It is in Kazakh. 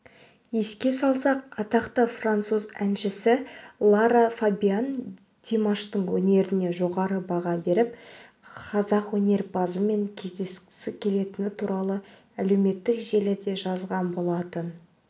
еске салсақ атақты француз әншісі лара фабиан димаштың өнеріне жоғары баға беріп қазақ өнерпазымен кездескісі келетіні туралы әлеуметтік желіде жазған болатын